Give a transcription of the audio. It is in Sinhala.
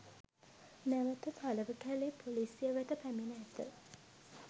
නැවත තලවකැලේ පොලිසිය වෙත පැමිණ ඇත